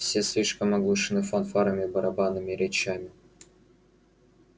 все слишком оглушены фанфарами барабанами и речами